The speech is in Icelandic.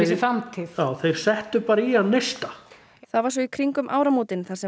sér framtíð þeir settu bara í hann neista það var svo í kringum áramótin þar sem